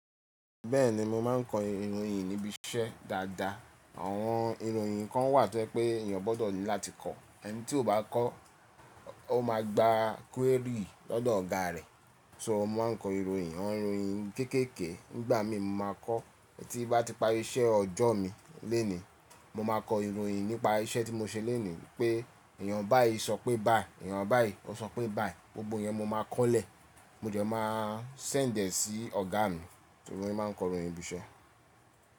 Bẹ́ẹ̀ni mo máa ń kọ ìròyìn nibi iṣẹ́ dáadáa. Àwọn ìròyìn kan wà tí o ye pé èèyàn gbọ́dọ̀ ní láti kọ. Ẹni tí ò bá kọ́, ó máa gba query lọ́dọ̀ ọ̀gá rẹ̀. So mo máa ń kọ ìròyìn, àwọn ìròyìn kéékèèké nígbà mi mo máa kọ́. Tí bá ti parí iṣẹ́ ọjọ́ mi lónìí, mo máa kọ ìròyìn nípa iṣẹ́ tí mo ṣe lónìí wípé èèyàn báì sọ pé báì, èèyàn báì sọ pé báì. Gbogbo iyẹn mo máa kọ́lẹ̀. Mo dẹ̀ máa sẹ̀ndẹi e sí ọ̀gá mi. Ìròyìn máa ń kọ ìròyìn ibi iṣẹ́